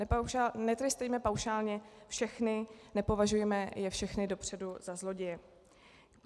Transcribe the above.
Netrestejme paušálně všechny, nepovažujme je všechny dopředu za zloděje.